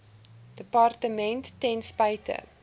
departement ten spyte